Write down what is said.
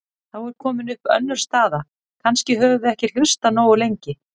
Þá er komin upp önnur staða: Kannski höfum við ekki hlustað nógu lengi.